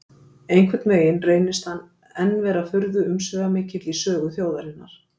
Einhvern veginn reynist hann enn vera furðu-umsvifamikill í sögu þjóðarinnar.